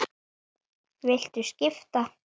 Þannig leit hún á málin.